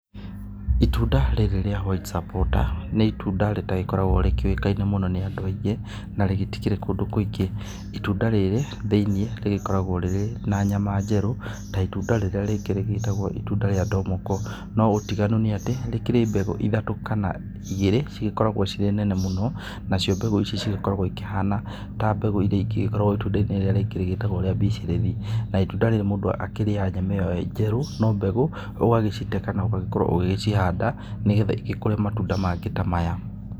Itunda rĩrĩ rĩa white supporter nĩ itunda rĩtagĩkoragwo rĩkĩũkaine mũno nĩ andũ aingĩ, na rĩtikĩrĩ kũndũ kũingĩ. Itunda rĩrĩ thĩiniĩ rĩgĩkoragwo rĩrĩ na nyama njerũ, ta itunda rĩrĩa rĩngĩ rĩgĩtagwo itunda rĩa ndomoko. No ũtiganu nĩ atĩ rĩkĩrĩ mbegũ ithatũ, kana igĩrĩ cigĩkoragwo cirĩ nene mũno. Nacio mbegũ ici cigĩkoragwo ikĩhana ta mbegũ irĩa ingĩ ikoragwo itunda-inĩ rĩrĩa rĩngĩ rĩgĩtagwo rĩa bicirĩthi. Na itunda rĩrĩ mũndũ akĩrĩaga nyama ĩyo njerũ no mbegũ ũgagĩcite kana ũgagĩkorwo ũgĩgĩcihanda nĩgetha igĩkũre matunda mangĩ ta maya.